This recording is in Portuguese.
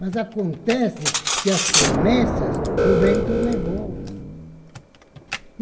Mas acontece que as promessas o vento levou.